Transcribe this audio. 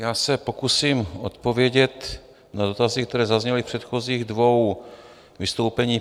Já se pokusím odpovědět na dotazy, které zazněly v předchozích dvou vystoupeních.